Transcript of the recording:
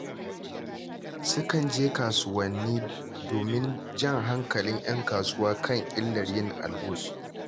Sukan je kasuwanni domin jan hankalin ‘yan kasuwa a kan illar yin algus.